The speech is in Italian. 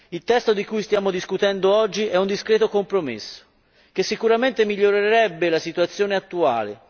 Il testo di cui stiamo discutendo oggi è un discreto compromesso, che sicuramente migliorerebbe la situazione attuale